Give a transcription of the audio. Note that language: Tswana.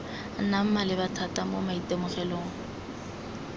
nnang maleba thata mo maitemogelong